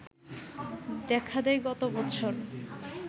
দেখা দেয় গত বছর